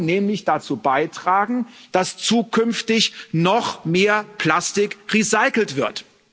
Wir wollen nämlich dazu beitragen, dass zukünftig noch mehr Plastik recycelt wird.